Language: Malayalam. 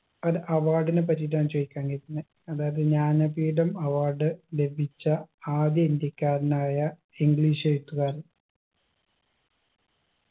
അൽ award നെ പറ്റിട്ടാണ് ചോയിക്കാൻ വിചാരിക്കുന്നെ അതായത് ജ്ഞാനപീഠം award ലഭിച്ച ആദ്യ ഇന്ത്യക്കാരനായ english എഴുത്തുകാരൻ